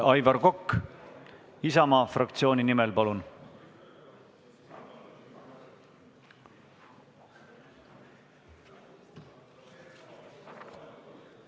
Aivar Kokk Isamaa fraktsiooni nimel, palun!